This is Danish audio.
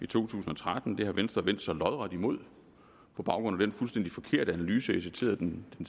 tusind og tretten det har venstre vendt sig lodret imod på baggrund af den fuldstændig forkerte analyse jeg citerede den